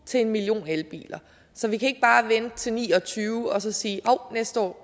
til en million elbiler så vi kan ikke bare vente til ni og tyve og så sige hov næste år